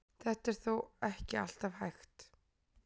Þetta er þó ekki alltaf hægt.